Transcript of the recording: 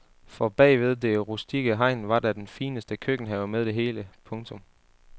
For bagved det rustikke hegn var der den fineste køkkenhave med det hele. punktum